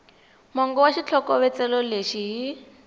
mongo wa xitlhokovetselo lexi hi